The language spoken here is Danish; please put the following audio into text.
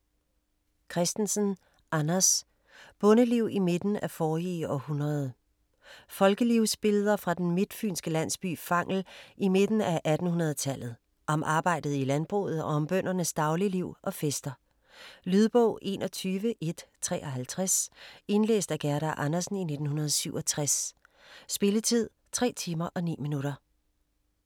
Christensen, Anders: Bondeliv i midten af forrige århundrede Folkelivsbilleder fra den midtfynske landsby Fangel i midten af 1800-tallet, om arbejdet i landbruget og om bøndernes dagligliv og fester. Lydbog 21153 Indlæst af Gerda Andersen, 1967. Spilletid: 3 timer, 9 minutter.